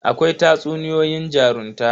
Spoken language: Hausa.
Akwai tatsuniyoyin jarunta.